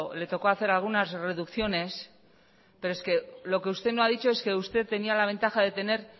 le tocó hacer algunas reducciones pero es que lo que usted no ha dicho es que usted tenía la ventaja de tener